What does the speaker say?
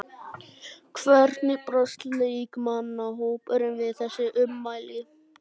Hvernig brást leikmannahópurinn við þessum ummælum?